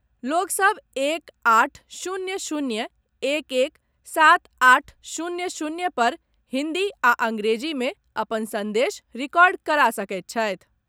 लोक सभ एक आठ शून्य शून्य एक एक सात आठ शून्य शून्य पर हिन्दी आ अंग्रेजी मे अपन संदेश रिकॉर्ड करा सकैत छथि।